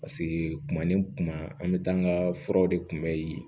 Paseke kuma ni kuma an bɛ taa an ka furaw de kunbɛ yen